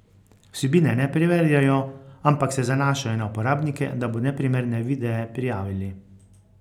Vsebine ne preverjajo, ampak se zanašajo na uporabnike, da bodo neprimerne videe prijavili.